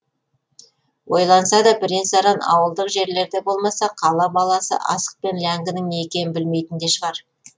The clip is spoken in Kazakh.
ойналса да бірен саран ауылдық жерлерде болмаса қала баласы асық пен ләңгінің не екенін білмейтін де шығар